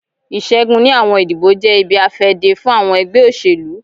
Iṣẹgun ni awọn idibo jẹ ibi-afẹde fun awọn ẹgbẹ oselu.